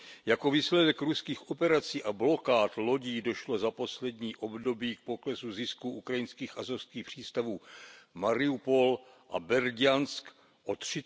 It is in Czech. jako výsledek ruských operací a blokád lodí došlo za poslední období k poklesu zisků ukrajinských azovských přístavů Mariupol a Berdiansk o